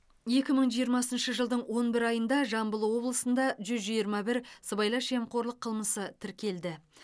екі мың жиырмасыншы жылдың он бір айында жамбыл облысында жүз жиырма бір сыбайлас жемқорлық қылмысы тіркелді